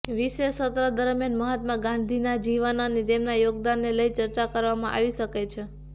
વિશેષ સત્ર દરમિયાન મહાત્મા ગાંધીના જીવન અને તેમના યોગદાનને લઈ ચર્ચા કરવામાં આવી શકે છે